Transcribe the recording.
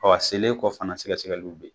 Ɔɔ a selen kɔ fana, sɛgɛsɛgɛliw be yen.